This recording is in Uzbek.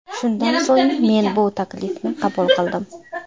Shundan so‘ng men bu taklifni qabul qildim.